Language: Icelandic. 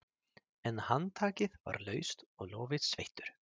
En handtakið var laust og lófinn sveittur.